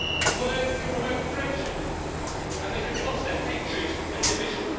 Words can promote friendship and they can foster hatred and division.